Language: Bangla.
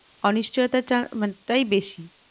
অনিশ্চথিওটার চাপ মাত্রায় বেশী